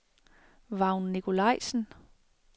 Vagn Nikolajsen